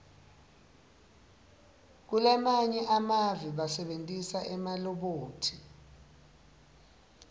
kulamanye emave basebentisa emalobhothi